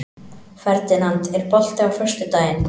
Ferdinand, er bolti á föstudaginn?